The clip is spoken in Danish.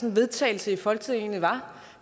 en vedtagelse i folketinget egentlig var